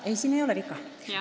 Ei, siin ei ole viga.